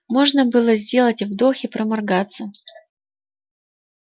можно было сделать вдох и проморгаться